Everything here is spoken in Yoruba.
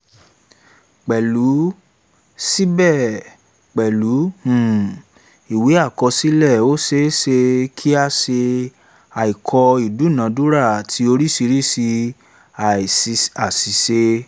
síbẹ̀ pẹ̀lú um ìwé àkọsílẹ̀ ó ṣé ṣe kí a ṣe àìkọ ìdúnadúrà àti oríṣiríṣi àṣìṣe